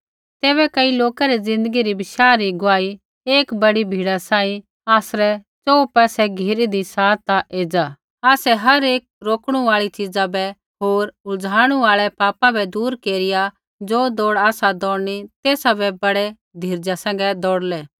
तैबै कई लोका री ज़िन्दगी री बशाह री गुआही एक बड़ी भीड़ा सांही आसरै च़ोहू पासै घिरीदी सा ता एज़ा आसै हर एक रोकणु आल़ी च़ीज़ा बै होर उलझाणु आल़ै पापा बै दूर केरिआ ज़ो दौड़ आसा दौड़नी तेसा बै ब़डै धीरजा सैंघै दौड़लै